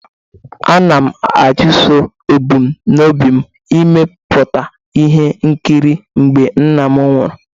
Ana m achụso ebumnobi m n'imepụta ihe nkiri mgbe nna m nwụrụ.